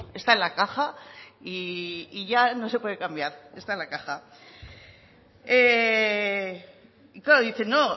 está en la caja y ya no se puede cambiar está en la caja y claro dice no